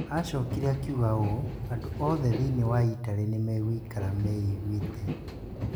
Aacokire akiuga ũũ: "Andũ othe thĩinĩ wa Italy nĩ megũikara meiguĩte".